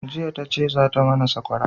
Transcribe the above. jiya ta ce za ta mana sakwara